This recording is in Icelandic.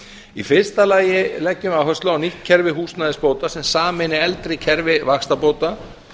í fyrsta lagi leggjum við áherslu á nýtt kerfi húsnæðisbóta sem sameini eldri kerfi vaxtabóta